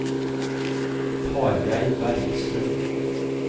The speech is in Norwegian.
Tarjei Bergstrøm